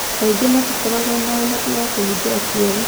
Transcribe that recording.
Kaingĩ matikoragwo na ũhoti wa kũhĩngĩra kĩoro.